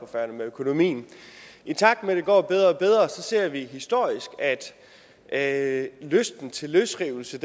færøerne med økonomien i takt med at det går bedre og bedre ser vi historisk at lysten til løsrivelse